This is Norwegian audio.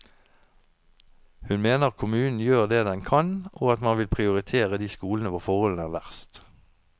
Hun mener kommunen gjør det den kan og at man vil prioritere de skolene hvor forholdene er verst.